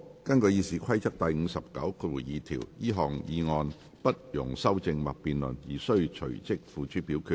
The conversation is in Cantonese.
根據《議事規則》第592條，這項議案不容修正或辯論而須隨即付諸表決。